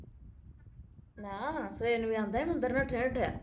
ਨਾ ਸਵੇਰ ਨੂੰ ਵੀ ਆਉਂਦਾ ਹੈ ਮੰਦਰ ਨਠੇਆ ਨਠੇਆ